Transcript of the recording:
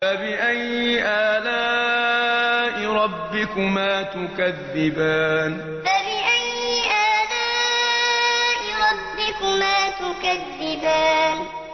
فَبِأَيِّ آلَاءِ رَبِّكُمَا تُكَذِّبَانِ فَبِأَيِّ آلَاءِ رَبِّكُمَا تُكَذِّبَانِ